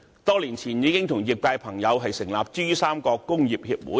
多年前，我們已和業界朋友成立珠三角工業協會。